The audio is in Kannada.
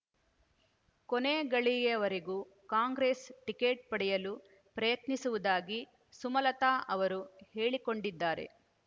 ಕೊನೆಗಳಿಗೆಯವರೆಗೂ ಕಾಂಗ್ರೆಸ್ ಟಿಕೆಟ್ ಪಡೆಯಲು ಪ್ರಯತ್ನಿಸುವುದಾಗಿ ಸುಮಲತ ಅವರು ಹೇಳಿಕೊಂಡಿದ್ದಾರೆ